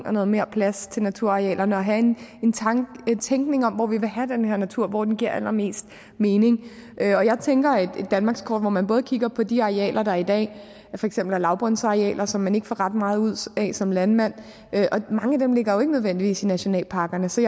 og noget mere plads til naturarealerne og have en tænkning om hvor vi vil have den her natur og hvor den giver allermest mening jeg tænker et danmarkskort hvor man både kigger på de arealer der i dag for eksempel er lavbundsarealer som man ikke får ret meget ud af som landmand og mange af dem ligger jo ikke nødvendigvis i nationalparkerne så